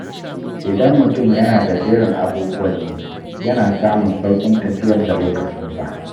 Idan mutum yana da jerin abubuwan yi, yana samun sauƙin tafiyar da lokacinsa.